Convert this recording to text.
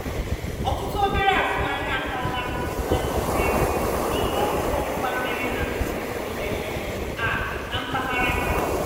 ọtụtụ obere azụmaahịa ataala afụfụ na njikwa ego n'ihi ọkụ ọgbụgba mere na nsonso um a na mpaghara ha.